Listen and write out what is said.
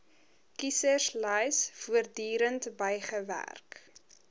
kieserslys voortdurend bygewerk